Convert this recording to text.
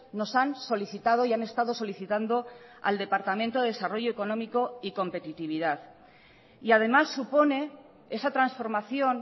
nos han solicitado y han estado solicitando al departamento de desarrollo económico y competitividad y además supone esa transformación